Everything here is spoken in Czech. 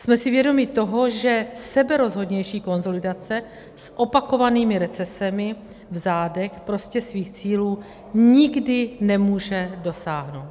Jsme si vědomi toho, že seberozhodnější konsolidace s opakovanými recesemi v zádech prostě svých cílů nikdy nemůže dosáhnout.